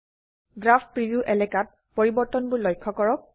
graph preview এলাকাত পৰিবৰ্তনবোৰ লক্ষ্য কৰক